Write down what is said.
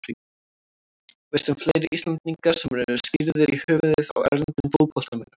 Veistu um fleiri Íslendinga sem eru skírðir í höfuðið á erlendum fótboltamönnum?